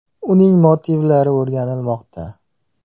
Uning motivlari o‘rganilmoqda.